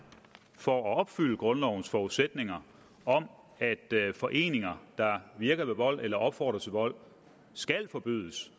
for at opfylde grundlovens forudsætninger om at foreninger der virker ved vold eller opfordrer til vold skal forbydes